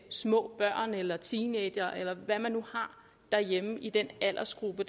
små børn eller teenagere eller hvad man nu har derhjemme i den aldersgruppe